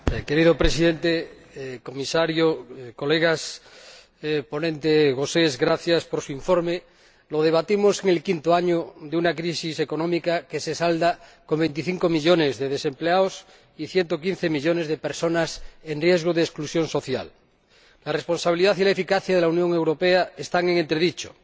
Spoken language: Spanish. Señor Presidente, señor Comisario, Señorías, señor Gauzès gracias por el informe que ha elaborado. Lo debatimos en el quinto año de una crisis económica que se salda con 25 millones de desempleados y 115 millones de personas en riesgo de exclusión social la responsabilidad y la eficacia de la Unión Europea están en entredicho.